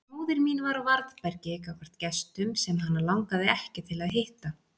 Móðir mín var á varðbergi gagnvart gestum sem hana langaði ekki til að hitta.